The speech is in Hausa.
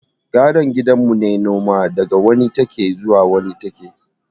Gadon gidan mu ne noma, daga wani take zuwa wani take